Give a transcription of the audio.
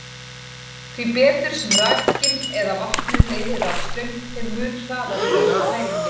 Því betur sem rakinn eða vatnið leiðir rafstraum, þeim mun hraðari verður tæringin.